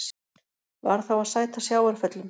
Varð þá að sæta sjávarföllum.